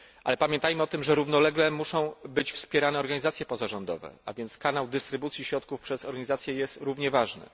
Ale pamiętajmy o tym, że równolegle muszą być wspierane organizacje pozarządowe, a więc kanał dystrybucji środków przez organizacje jest równie ważny.